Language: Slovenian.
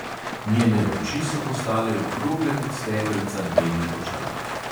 Njene oči so postale okrogle kot stekelca njenih očal.